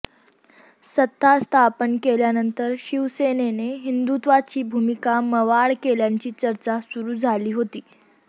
सत्ता स्थापन केल्यानंतर शिवसेनेने हिंदुत्वाची भूमिका मवाळ केल्याची चर्चा सुरू झाली होती